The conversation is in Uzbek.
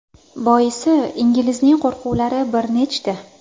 Boisi inglizning qo‘rquvlar bir nechta.